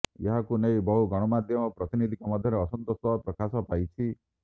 ଏହାକୁ ନେଇ ବହୁ ଗଣମାଧ୍ୟମ ପ୍ରତିନିଧିଙ୍କ ମଧ୍ୟରେ ଅସନ୍ତୋଷ ପ୍ରକାଶ ପାଇଛି